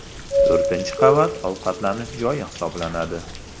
To‘rtinchi qavat ovqatlanish joyi hisoblanadi.